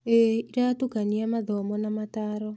ĩĩ, ĩratukania mathomo na motaaro.